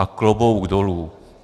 A klobouk dolů.